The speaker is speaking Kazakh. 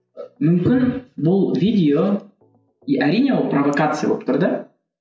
мүмкін бұл видео әрине ол провокация болып тұр да